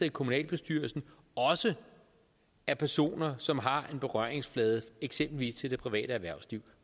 i kommunalbestyrelsen også er personer som har en berøringsflade eksempelvis til det private erhvervsliv